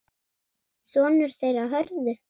Sonur þeirra Hörður.